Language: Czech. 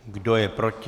Kdo je proti?